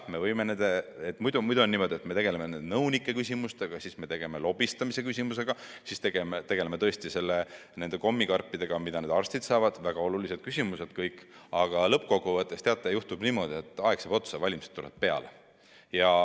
Muidu on niimoodi, et me tegeleme nõunike küsimustega, me tegeleme lobistamise küsimusega ja me tegeleme nende kommikarpidega, mida arstid saavad – need kõik on väga olulised küsimused –, aga lõppkokkuvõttes juhtub niimoodi, et aeg saab otsa, valimised tulevad peale.